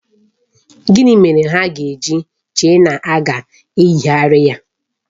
Gịnị mere ha ga-eji chee na a ga-eyigharị ya?